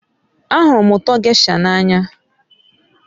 Ahụrụ ụtọ gésha n'anya